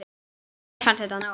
Mér fannst þetta nóg.